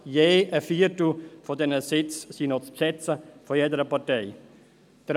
Je ein Viertel dieser Sitze sind von jeder Partei noch zu besetzen.